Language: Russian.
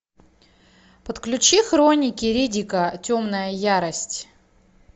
подключи хроники риддика темная ярость